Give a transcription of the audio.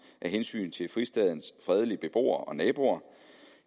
af hensyn til fristadens fredelige beboere og naboer